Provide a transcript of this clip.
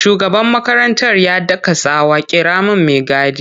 Shugaban makarantar ya daka tsawa 'kira min mai gadi!'